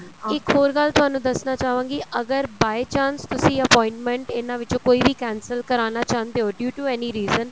ਇੱਕ ਹੋਰ ਗੱਲ ਤੁਹਾਨੂੰ ਦੱਸਣਾ ਚਾਹਵਾਂਗੀ ਅਗਰ by chance ਤੁਸੀਂ appointment ਇਹਨਾ ਵਿੱਚੋ ਕੋਈ ਵੀ cancel ਕਰਾਣਾ ਚਾਹੁੰਦੇ ਓ due to any reason